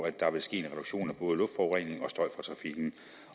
at der vil ske en reduktion af både luftforurening